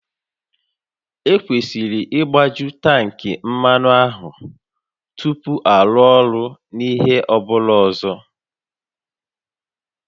Ekwesịrị ịgbaju tankị mmanụ a tupu arụ ọrụ n'ihe ọ bụla ọzọ